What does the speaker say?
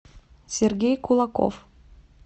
сергей кулаков